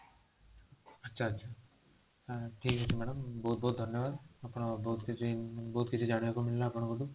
ଆଚ୍ଛା ଆଚ୍ଛା ଥୁକ ଅଛି madam ବହୁତ ଭଉତ ଧନ୍ୟବାଦ ଆପଣ ବହୁତ କିଛି ବହୁତ କିଛି ଜାଣିବାକୁ ମିଳିଲା ଆପଣଙ୍କ ଠୁ